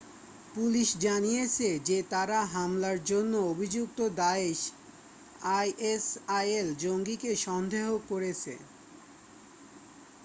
Police জানিয়েছে যে তারা হামলার জন্য অভিযুক্ত দায়েশ isil জঙ্গিকে সন্দেহ করেছে।